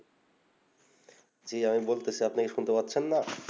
জি আমি বলছি আপনি কি শুনতে পাচ্ছেন না